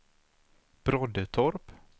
Broddetorp